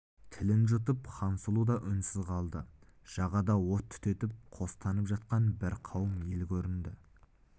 тілін жұтып хансұлу да үнсіз қалды жағада от түтетіп қостанып жатқан бір қауым ел көрінді